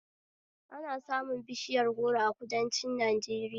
Ana samun bishiyar goro a kudanci Najeriya